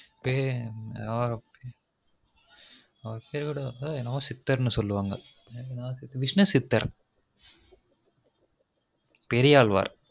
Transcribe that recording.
பேரு ஒ ok அவரு பேர் கூட ஏதொ சித்தர்னு சொல்லுவாங்க விஷ்ணு சித்தர் பெரியாழ்வார்